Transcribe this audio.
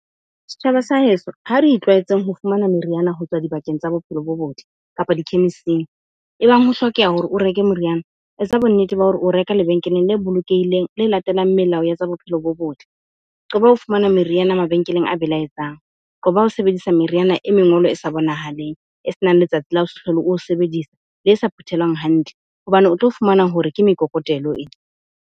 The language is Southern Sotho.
Setjhaba sa heso, ha re itlwaetseng ho fumana meriana ho tswa dibakeng tsa bophelo bo botle kapa di-chemist-ing. Ebang ho hlokeha hore o reke moriana, etsa bonnete ba hore o reka lebenkeleng le bolokehileng, le latelang melao ya tsa bophelo bo botle. Qoba ho fumana meriana mabenkeleng a belaetsang. Qoba ho sebedisa meriana e mengolo e sa bonahaleng, e senang letsatsi la ho se hlole o o sebedisa, le sa phuthelwang hantle hobane o tlo fumana hore ke mekokotelo .